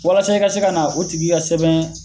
Walasa i ka se ka na o tigi ka sɛbɛn